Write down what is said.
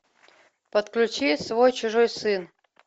подключи свой чужой сын